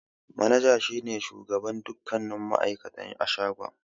Manaja ne shugaban dukkanin ma'aikata a shagon.